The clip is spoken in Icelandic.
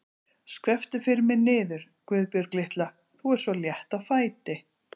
Skrepptu fyrir mig niður, Guðbjörg litla, þú ert svo létt á fæti.